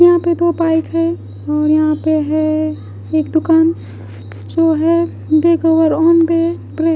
यहाँ पर दो बाइक है और यहाँ पे है एक दुकान जो है --